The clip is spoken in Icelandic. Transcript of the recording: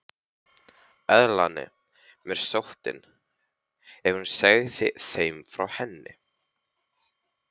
Elnaði mér sóttin, ef hún segði þeim frá henni?